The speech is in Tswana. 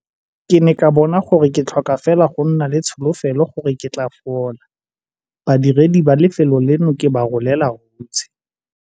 Ke ne ka bona gore ke tlhoka fela go nna le tsholofelo gore ke tla fola. Badiredi ba lefelo leno ke ba rolela hutshe!